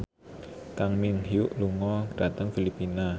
Kang Min Hyuk lunga dhateng Filipina